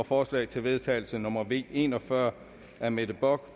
forslag til vedtagelse nummer v en og fyrre af mette bock